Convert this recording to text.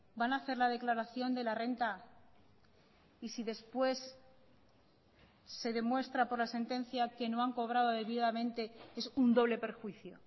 van a hacer la declaración de la renta y si después se demuestra por la sentencia que no han cobrado debidamente es un doble perjuicio